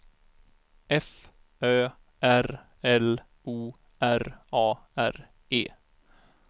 F Ö R L O R A R E